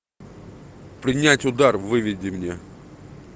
принять удар выведи мне